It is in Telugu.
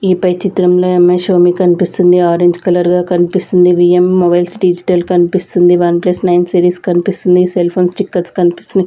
ఈ పై చిత్రంలో ఈ అమ్మాయి శోమీ కనిపిస్తుంది ఆరెంజ్ కలర్ గా కనిపిస్తుంది వి_ఎమ్ మొబైల్స్ డిజిటల్ కనిపిస్తుంది వన్ ప్లస్ నైన్ సిరీస్ కనిపిస్తుంది సెల్ ఫోన్ స్టిక్కర్స్ కనిపిస్తున్నాయి.